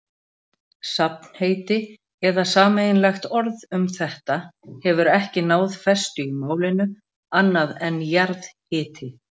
Safnheiti eða sameiginlegt orð um þetta hefur ekki náð festu í málinu, annað en jarðhiti.